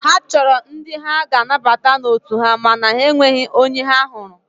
Ha chọrọ ndị ha ga-anabata n'otu ha mana enweghị onye ha hụrụ.